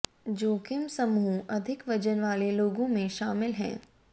जोखिम समूह अधिक वजन वाले लोगों में शामिल हैं